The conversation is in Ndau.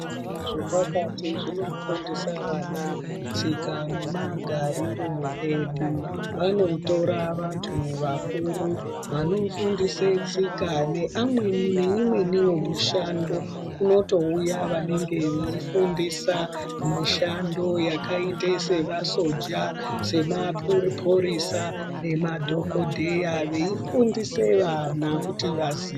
Zvatakati zvinofundisa vana tsika nemagariro edu, vanotora vantu vakuru vanofundisa tsika neamweni neimweniwo mishando. Kunotouya vantu vanenge vefundisa mishando yakaita sevasoja, semapurisa nemadhokodheya veifundisa vana kuti vazi.